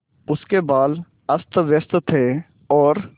उसके बाल अस्तव्यस्त थे और